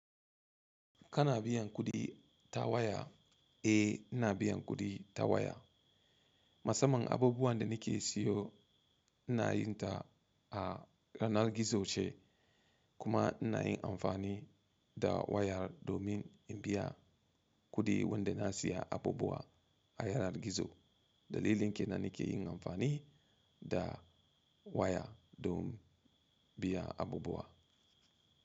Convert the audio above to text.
Kana biyan kuɗi ta waya? Eh, ina biyan kuɗi ta waya. Musamman abubuwan da nike siyo inayin ta a yanar gizo ce kuma inayin amfani da wayar domin in biya kuɗi wanda nasiya abubuwa a yanar gizo. Dalilin kenan nake yin amfani da waya don biya abubuwa.